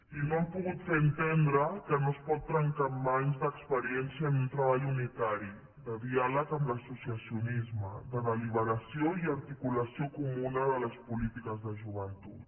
i no han pogut fer entendre que no es pot trencar amb anys d’experiència en un treball unitari de diàleg amb l’associacionisme de deliberació i articulació comuna de les polítiques de joventut